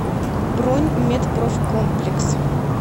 бронь медпрофкомплекс